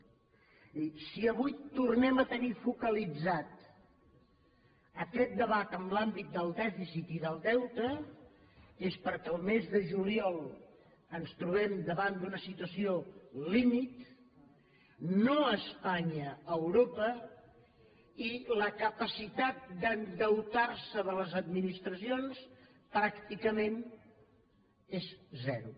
és a dir si avui tornem a tenir focalitzat aquest debat en l’àmbit del dèficit i del deute és perquè al mes de juliol ens trobem davant d’una situació límit no a espanya a europa i la capacitat d’endeutar se de les administracions pràcticament és zero